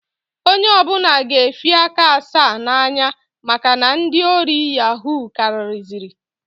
Onye ọbụna ga efi aka asaa na-anya maka na ndị ori yahuu kariziri.